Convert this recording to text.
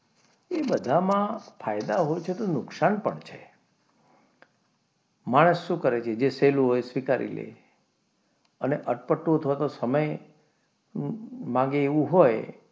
એ બધામાં ફાયદા હોય છે તો નુકસાન પણ હોય છે માણસ શું કરે કે જે સહેલું હોય તે સ્વીકારી લે અને અટપટો અથવા તો સમય માગે એવું હોય,